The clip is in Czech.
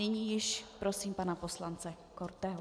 Nyní již prosím pana poslance Korteho.